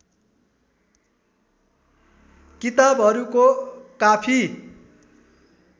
किताबहरूको काफी